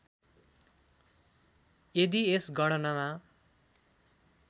यदि यस गणनामा